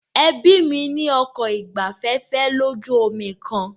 Ẹbí mí ní ọkọ̀ ìgbafẹ́fẹ́ lójú omi kan.